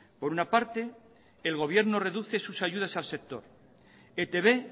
por una parte el gobierno reduce sus ayudas al sector etb